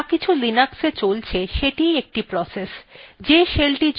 যাকিছু linuxa চলছে সেটিই একটি process